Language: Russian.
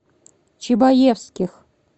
чебаевских